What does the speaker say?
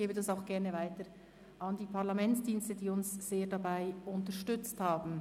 Ich gebe es auch gerne weiter an die Parlamentsdienste, die uns sehr dabei unterstützt haben.